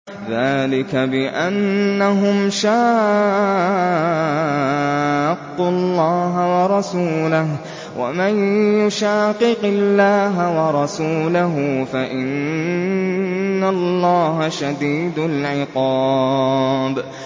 ذَٰلِكَ بِأَنَّهُمْ شَاقُّوا اللَّهَ وَرَسُولَهُ ۚ وَمَن يُشَاقِقِ اللَّهَ وَرَسُولَهُ فَإِنَّ اللَّهَ شَدِيدُ الْعِقَابِ